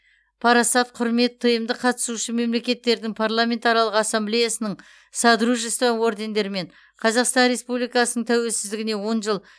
парасат құрмет тмд қатысушы мемлекеттердің парламентаралық ассамблеясының содружество ордендерімен қазақстан республикасының тәуелсіздігіне он жыл